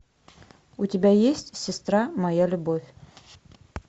у тебя есть сестра моя любовь